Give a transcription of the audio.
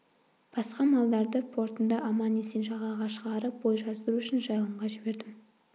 басқа малдарды портында аман-есен жағаға шығарып бой жаздыру үшін жайылымға жібердім